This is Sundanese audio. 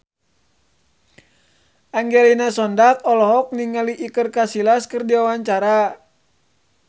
Angelina Sondakh olohok ningali Iker Casillas keur diwawancara